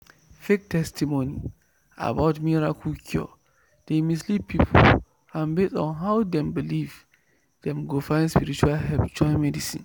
fake testimony about miracle cure dey mislead people and based on how dem believe dem go find spiritual help join medicine.